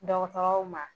Dɔgɔtɔrɔw ma